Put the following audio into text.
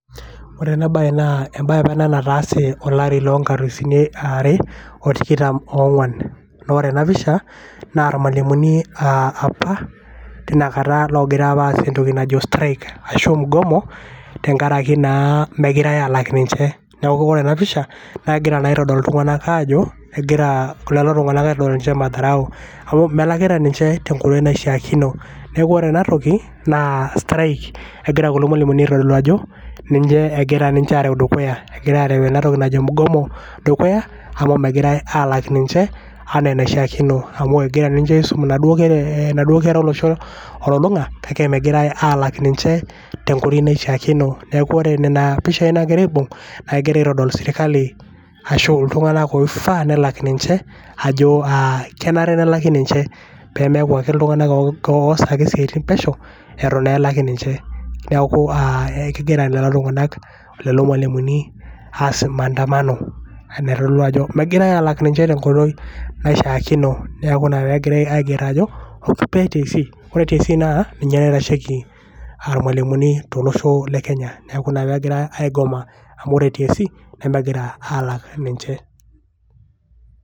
ore ena bae naa embae apa ena nataase olari loo nkalisuni are otikitam ongwan .naa ore ena pisha naa irmwalimuni apa tinakata apa logira aas entoki najo strike ashu mgomo tenkaraki naa mmegirae alak ninche. niaku ore ena pisha naa kegira naa aitodolu iltunganak ajo kegira lelo tunganak aitodol ninche madharau amu melakita ninche tenkoitoi naishiaakino .niaku ore ena toki naa strike egira kulo mwaliumuni aitodolu ajo ninche egira areu ninche dukuya. egira areu ena toki najo mgomo dukuya amu megirae alak ninche anaa enaishiaakino. amu egira ninche aisum ina duoo kera olosho olulunga kake megirae alak ninche tenkoitoi naishiaakino. niaku ore nena pishai nagira aibung naa kegira aitodol sirkali ashu iltunganak oifaa nelak ninche ajo aa kenare nelaki ninche pemeaku ake iltunganak oas ake isiatin pesho etu naa elaki ninche. niaku aa kegira lelo tunganak lelo mwalimuni aas maandamano naitodolu ajo megirae alak ninche tenkoitoi naishiaakino. niaku ina pegira aiger ajo kupet TSC. ore TSC naa ninye naitasheiki irmwalimuni tolosho le Kenya niaku ina pegira aigoma amu ore TSC nemegira alak ninche.